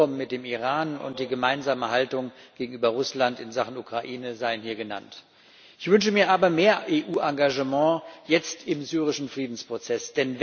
Das Abkommen mit dem Iran und die gemeinsame Haltung gegenüber Russland in Sachen Ukraine seien hier genannt. Ich wünsche mir aber mehr EU Engagement jetzt im syrischen Friedensprozess.